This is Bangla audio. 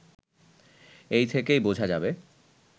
এ থেকেই বোঝা যাবে